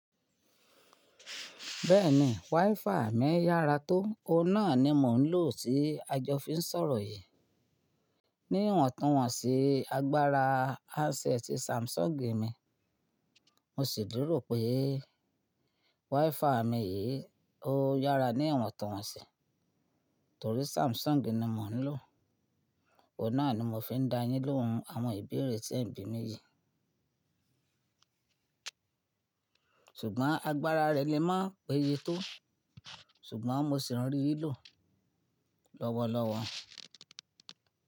Bẹ́ẹ̀ni, WiFi mi yára tó, òun náà ni mò ń lò tí a jọ fi ń sọ̀rọ̀ yìí. Ní ọ̀tun atí agbára handset ti Samsung mi, mo sì tunró pé WiFi mi yìí ó yára ní iwon tunwon sí, torí Samsung ni mò ń lò. Òun náà ni mò fi ń dá a yín lóhun àwọn ìbéèrè tí ẹ̀ ń bí mi yìí. Ṣùgbọ́n agbára rẹ̀ lè máa péye tó, ṣùgbọ́n mo sì ń rí i lò lọ́wọ́lọ́wọ́.